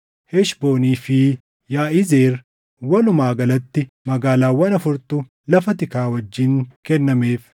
Heshboonii fi Yaʼizeer, walumaa galatti magaalaawwan afurtu lafa tikaa wajjin kennameef.